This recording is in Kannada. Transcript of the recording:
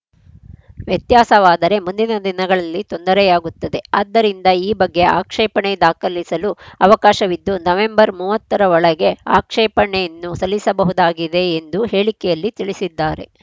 ವ್ಯತ್ಯಾಸವಾದರೆ ಮುಂದಿನ ದಿನಗಳಲ್ಲಿ ತೊಂದರೆಯಾಗುತ್ತದೆ ಆದ್ದರಿಂದ ಈ ಬಗ್ಗೆ ಆಕ್ಷೇಪಣೆ ದಾಖಲಿಸಲು ಅವಕಾಶವಿದ್ದು ನವೆಂಬರ್‌ ಮೂವತ್ತ ರ ಒಳಗೆ ಆಕ್ಷೇಪಣೆಯನ್ನು ಸಲ್ಲಿಸಬಹುದಾಗಿದೆ ಎಂದು ಹೇಳಿಕೆಯಲ್ಲಿ ತಿಳಿಸಿದ್ದಾರೆ